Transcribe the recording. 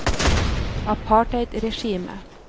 apartheidregimet